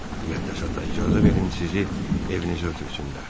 Müqəddəs ata, icazə verin sizi evinizə ötürsünlər.